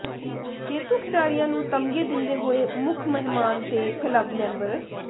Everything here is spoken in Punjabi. ਜੇਤੂ ਖਿਡਾਰੀਆਂ ਨੂੰ ਤਗਮੇ ਦਿੰਦੇ ਹੋਏ ਮੁੱਖ ਮਹਿਮਾਨ ਤੇ ਕਲੱਬ ਮੈਂਬਰ